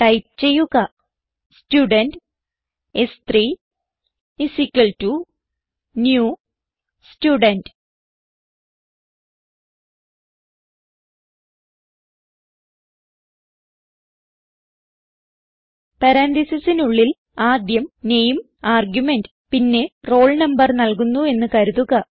type ചെയ്യുക student s3 new Student പരാൻതീസിസിനുള്ളിൽ ആദ്യം നാമെ ആർഗുമെന്റ് പിന്നെ റോൾ നംബർ നൽകുന്നു എന്ന് കരുതുക